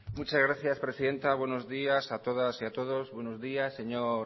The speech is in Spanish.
muchas gracias presidenta buenos días a todas y a todos buenos días señor